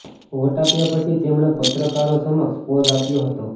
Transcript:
vote આપ્યા પછી તેમણે પત્રકારો સમક્ષ પોઝ આપ્યો હતો